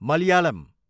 Malayalam